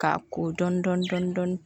K'a ko dɔɔnin dɔɔnin dɔɔnin